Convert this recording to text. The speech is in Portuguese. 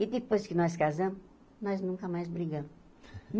E depois que nós casamos, nós nunca mais brigamos.